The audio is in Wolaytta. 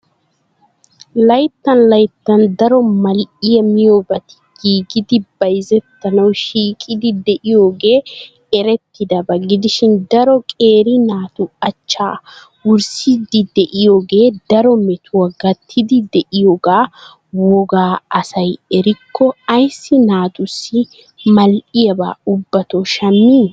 Layttan layttan daro mal'iya miyoobati giigidi bayzettanaw shiiqiidi de'iyooge errettidaba gidishin daro qeeri naatu achcha wurssidi de'iyooge daro mettuwa gattidi de'iyooga wogga asay erriko ayssi naatussi mal'iyaba ubbato shammi?